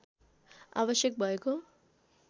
आवश्यक भएको